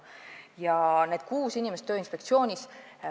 Nüüd nendest kuuest inimesest Tööinspektsioonis.